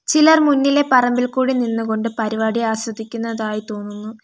ചിലർ മുന്നിലെ പറമ്പിൽ കൂടി നിന്നുകൊണ്ട് പരിപാടി ആസ്വദിക്കുന്നതായി തോന്നുന്നു.